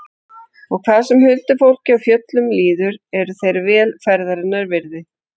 Og hvað sem huldufólki og fjöllum líður eru þeir vel ferðarinnar virði.